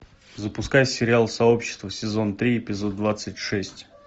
запускай сериал сообщество сезон три эпизод двадцать шесть